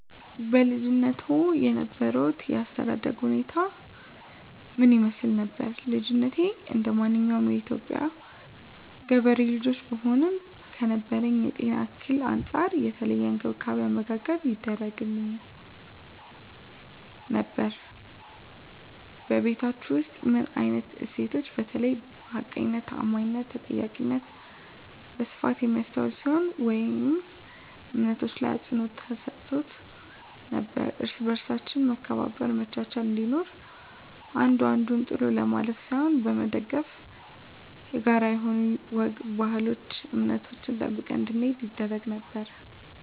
በልጅነትዎ የነበሮት የአስተዳደግ ሁኔታ ምን ይመስል ነበር? ልጅነቴ እንደማንኛውም የኢትዮጵያ ገበሬ ልጆች ብሆንም ከነበረብኝ የጤና እክል አንፃር የተለየ እንክብካቤ አመጋገብ ይደረግግልኝ ነበር በቤታቹ ውስጥ ምን አይነት እሴቶች በተለይ ሀቀኝነት ታአማኒትና ተጠያቂነት በስፋት የሚስተዋል ሲሆን ወይም እምነቶች ላይ አፅንዖት ተሰጥቶ ነበረው እርስ በርሳችን መከባበር መቻቻል እንዲኖር አንዱ አንዱን ጥሎ ለማለፍ ሳይሆን በመደጋገፍ የጋራ የሆኑ ወግ ባህል እምነቶችን ጠብቀን እንድንሄድ ይደረግ ነበር